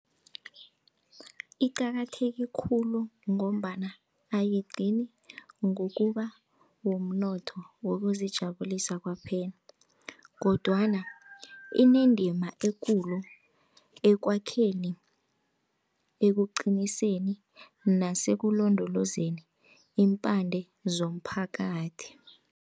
Iqakatheke khulu ngombana ayigcini ngokuba wumnotho wokuzijabulisa kwaphela kodwana inendima ekulu ekwakheni, ekuqiniseni nasekulondolezeni iimpande zomphakathi.